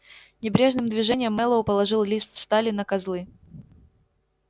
небрежным движением мэллоу положил лист стали на козлы